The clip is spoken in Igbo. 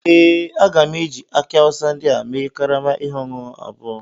Ee, a ga m eji aki awusa ndị a mee karama ihe ọṅụṅụ abụọ